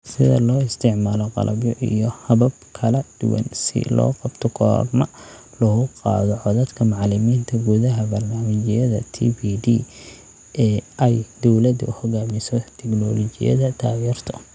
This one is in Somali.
Sida loo isticmaalo qalabyo iyo habab kala duwan si loo qabto korna loogu qaado codadka macalimiinta gudaha barnaamijyadda TPD ee ay dawladdu hogaamiso, tignoolajiyada taageerto.